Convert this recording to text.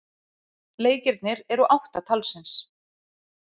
Leikirnir eru átta talsins.